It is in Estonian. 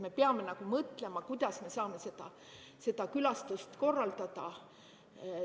Me peame mõtlema, kuidas me saame seda külastust korraldada.